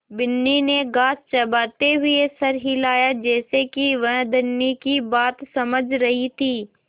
बिन्नी ने घास चबाते हुए सर हिलाया जैसे कि वह धनी की बात समझ रही थी